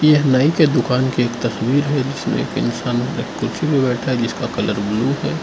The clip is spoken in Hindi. यह नई के दुकान की तस्वीर है जिसमें एक इंसान कुर्सी पर बैठा है जिसका कलर ब्लू है।